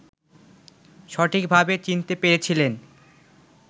সঠিকভাবে চিনতে পেরেছিলেন